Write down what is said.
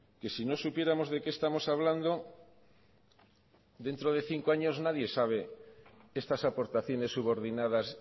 que si no supiéramos de qué estamos hablando dentro de cinco años nadie sabe estas aportaciones subordinadas